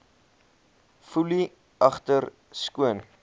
foelie agter skoon